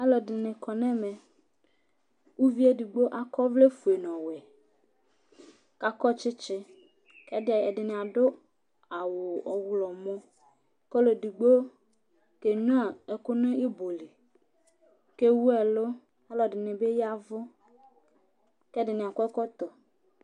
Alʋɛdìní kɔ ŋu ɛmɛ Ʋvie ɛɖigbo akɔ ɔvlɛ ɔfʋe ŋu ɔwɛ kʋ akɔ tsitsi Ɛɖìní aɖu awu ɔwlɔmɔ kʋ ɔluɛɖigbo kenyʋa ɛku ŋu ibɔ li kʋ ɛwu ɛlu Ɔlʋɛɖìní bi yavʋ kʋ ɛɖìní akɔ ɛkɔtɔ